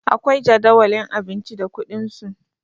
akwai Jadawalin abinci da kuɗinsu